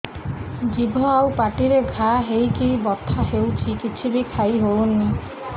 ଜିଭ ଆଉ ପାଟିରେ ଘା ହେଇକି ବଥା ହେଉଛି କିଛି ବି ଖାଇହଉନି